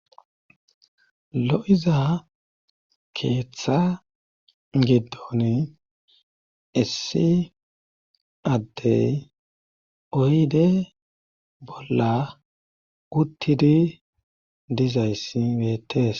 Lo7iza keeththa giddon essi addey oyde bolla uttidi dizayssi meetes.